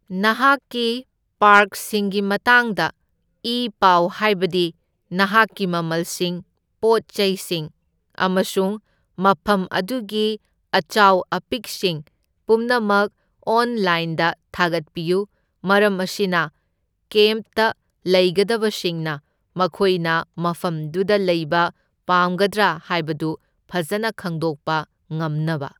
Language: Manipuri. ꯅꯍꯥꯛꯀꯤ ꯄꯥꯔꯛꯁꯤꯡꯒꯤ ꯃꯇꯥꯡꯗ ꯏ ꯄꯥꯎ ꯍꯥꯢꯕꯗꯤ ꯅꯍꯥꯛꯀꯤ ꯃꯃꯜꯁꯤꯡ, ꯄꯣꯠ ꯆꯩꯁꯤꯡ ꯑꯃꯁꯨꯡ ꯃꯐꯝ ꯑꯗꯨꯒꯤ ꯑꯆꯥꯎ ꯑꯄꯤꯛꯁꯤꯡ ꯄꯨꯝꯅꯃꯛ ꯑꯣꯟꯂꯥꯏꯟꯗ ꯊꯥꯒꯠꯄꯤꯌꯨ, ꯃꯔꯝ ꯑꯁꯤꯅ ꯀꯦꯝꯞ ꯇ ꯂꯩꯒꯗꯕꯁꯤꯡꯅ ꯃꯈꯣꯏꯅ ꯃꯐꯝꯗꯨꯗ ꯂꯩꯕ ꯄꯥꯝꯒꯗ꯭ꯔꯥ ꯍꯥꯏꯕꯗꯨ ꯐꯖꯅ ꯈꯪꯗꯣꯛꯄ ꯉꯝꯅꯕ꯫